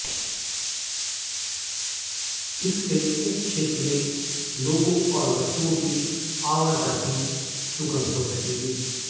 इससे उप क्षेत्र में लोगों और वस्तुओं की आवाजाही सुगम हो सकेगी